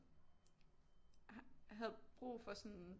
Havde brug for sådan